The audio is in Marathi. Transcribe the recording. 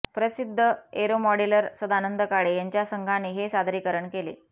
प्रसिद्ध एरोमॉडेलर सदानंद काळे यांच्या संघाने हे सादरीकरण केले